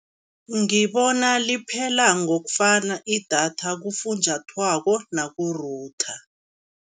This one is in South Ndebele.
Ngibona liphela ngokufana idatha kufunjathwako naku-router.